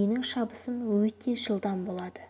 менің шабысым өте жылдам болады